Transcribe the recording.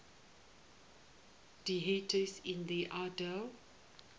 deities in the iliad